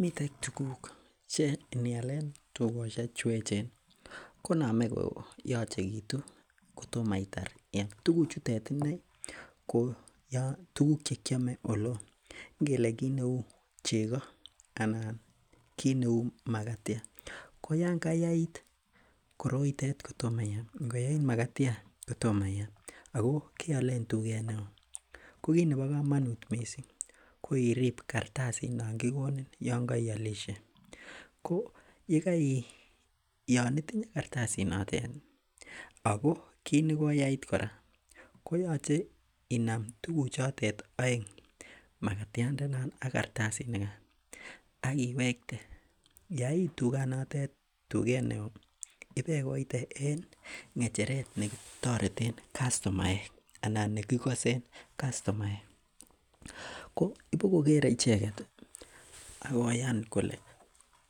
Miten tuguk che inial en tuyosiek cheechen ih, konamei koyachekitu. Kotomaitar tuguchutet inei ko tuguk cheuu chekiame. Ingelee kit neuu chego anan kit neuu magatiat. Ko Yoon koyait koroitet kotoma iam. Ingoyait magatiat kotoma iam ako kealen tuget neo lk kit nebo komanut missing ko iribe kartasit nongikonin Yoon kaislishe. Yoon itinye kartasit notet ih ako kit negoyait kora, koyache inam tukuk chotet aeng magatiat ndenon ak kartasit nigan akiwekte. yait tuget nitet, tuget neoo ibekoite en ng'echeret noton nekitoreten kastomaek anan nekikasen kastomaek ko ibokokere icheket akoyan kole